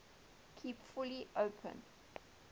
kept fully open